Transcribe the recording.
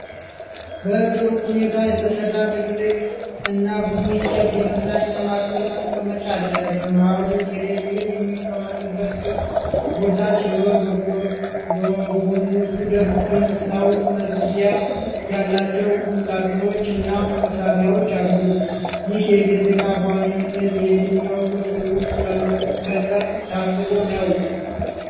በጥሩ ሁኔታ የተሰራ፣ ትልቅ እና ቡኒ እንጨት የመዝናኛ ማዕከል ማስቀመጫ አለ። በመሃሉ ቴሌቪዥን የሚቀመጥበት ክፍት ቦታ ሲኖር፣ በጎኖቹ ደግሞ የመስታወት መዝጊያ ያላቸው ቁምሳጥኖችና መሳቢያዎች አሉ። ይህ የቤት እቃ በዋነኝነት የየትኛው ክፍል ውስጥ ለመገጠም ታስቦ ነው?